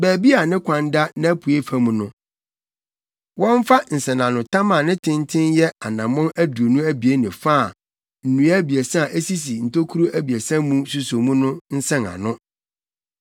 Baabi a ne kwan da nʼapuei fam no, wɔmfa nsɛnanotam a ne tenten yɛ anammɔn aduonu abien ne fa a nnua abiɛsa a esisi ntokuru abiɛsa mu suso mu no nsɛn ano.